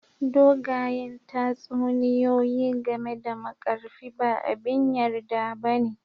Dogayen tatsuniyoyi game da Markarfi ba abin yarda ba ne